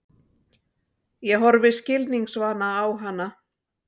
Ég horfi skilningsvana á hana.